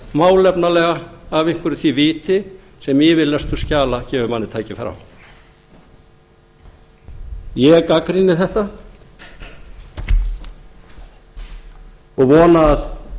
málefnalega af einhverju því viti sem yfirlestur skjala gefur manni tækifæri á ég gagnrýni þetta og vona að